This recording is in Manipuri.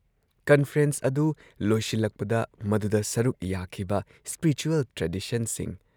ꯀꯟꯐꯔꯦꯟꯁ ꯑꯗꯨꯨ ꯂꯣꯏꯁꯤꯜꯂꯛꯄꯗ ꯃꯗꯨꯗ ꯁꯔꯨꯛ ꯌꯥꯈꯤꯕ ꯁ꯭ꯄꯤꯔꯤꯆꯨꯌꯦꯜ ꯇ꯭ꯔꯦꯗꯤꯁꯟꯁꯤꯡ: